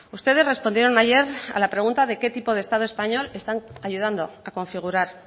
ustedes respondieron ayer a la pregunta de qué tipo de estado español están ayudando a configurar